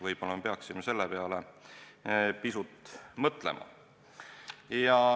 Võib-olla peaksime selle üle pisut mõtlema.